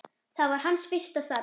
Það var hans fyrsta starf.